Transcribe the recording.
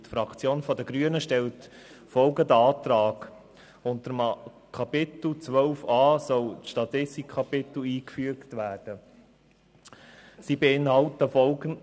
Die Fraktion der Grünen stellt den Antrag, mit Kapitel 12a ein Statistikkapitel einzufügen.